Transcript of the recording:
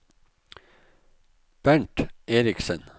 Bernt Erichsen